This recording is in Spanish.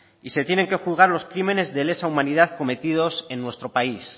y se tienen que juzgar los crímenes de lesa humanidad cometidos en nuestro país